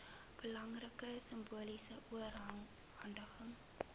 belangrike simboliese oorhandiging